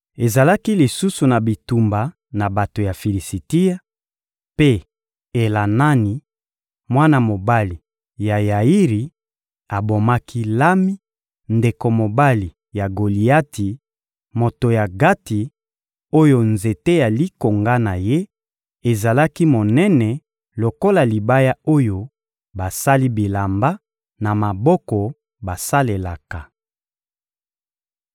Ezalaki lisusu na bitumba na bato ya Filisitia; mpe Elanani, mwana mobali ya Yairi, abomaki Lami, ndeko mobali ya Goliati, moto ya Gati, oyo nzete ya likonga na ye ezalaki monene lokola libaya oyo basali bilamba na maboko basalelaka.